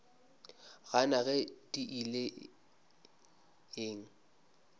gana ge di ile eng